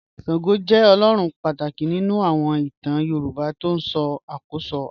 Ṣàngó jẹ́ ọlọ́run pátákì nínu àwọn ìtàn Yorùbá tí ó ṣákóṣó ara.